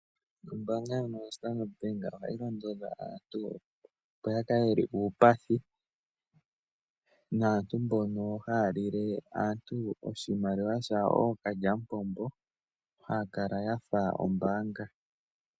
Ombaanga ndjono yoStandard Bank ohayi londodha aantu opo yakale yeli uupathi naantu mbono haya lile aantu oshimaliwa shawo ookalyamupombo haya kala yafa ombaanga.